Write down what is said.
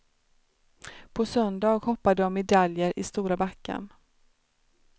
På söndag hoppar de om medaljer i stora backen.